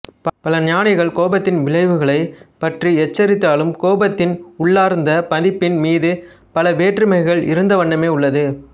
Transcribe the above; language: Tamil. பல ஞானிகள் கோபத்தின் விளைவுகளை பற்றி எச்சரித்தாலும் கோபத்தின் உள்ளார்ந்த மதிப்பின் மீது பல வேற்றுமைகள் இருந்த வண்ணமே உள்ளது